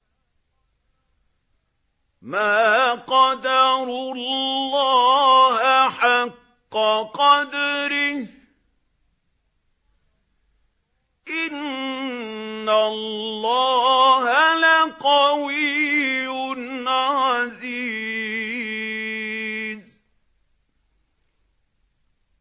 مَا قَدَرُوا اللَّهَ حَقَّ قَدْرِهِ ۗ إِنَّ اللَّهَ لَقَوِيٌّ عَزِيزٌ